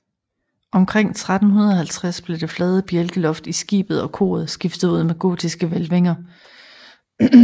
Omkring 1350 blev det flade bjælkeloft i skibet og koret skiftet ud med gotiske hvælvinger